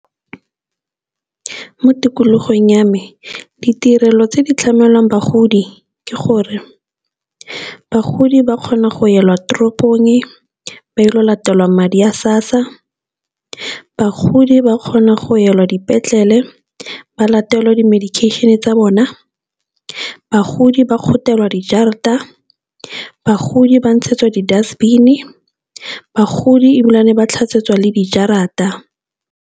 Mo tikologong ya me ditirelo tse di tlamelwang bagodi ke gore bagodi ba kgona go elwa toropong ba ile go latelwa madi a SASSA, bagodi ba kgona go elwa dipetlele ba latelwe di-medication tsa bona, bagodi ba kgothelwa dijarata, bagodi ba ntshetswa di-dust bin-e, bagodi e ebile ba tlhatswetswa le dijarata.